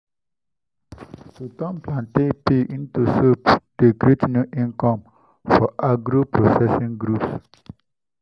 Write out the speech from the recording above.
you fit make herbal drinks from lemongrass moringa and ginger wey you grow for house.